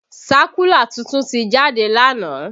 Sákúlà tuntun ti jáde lánàá